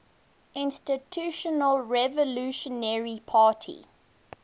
institutional revolutionary party